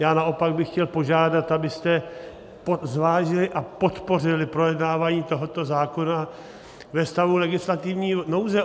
Já naopak bych chtěl požádat, abyste zvážili a podpořili projednávání tohoto zákona ve stavu legislativní nouze.